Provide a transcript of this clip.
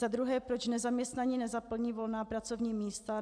Za druhé: Proč nezaměstnaní nezaplní volná pracovní místa?